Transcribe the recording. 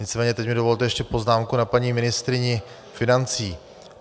Nicméně teď mi dovolte ještě poznámku na paní ministryni financí.